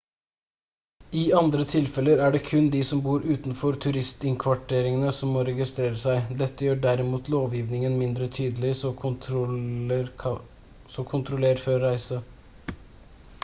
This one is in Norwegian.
i andre tilfeller er det kun de som bor utenfor turistinnkvarteringer som må registrere seg dette gjør derimot lovgivingen mindre tydelig så kontroller før reise